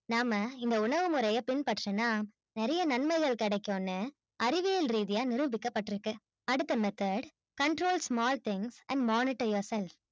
நாம இந்த உளவு முறைய பின்பற்றினா நெறைய நன்மைகள் கிடைக்கும் னு அறிவியல் ரீதியா நிரூபிக்க பற்றுக்கு. அடுத்த method control small things and monitor yourself